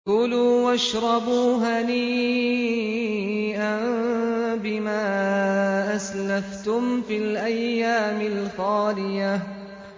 كُلُوا وَاشْرَبُوا هَنِيئًا بِمَا أَسْلَفْتُمْ فِي الْأَيَّامِ الْخَالِيَةِ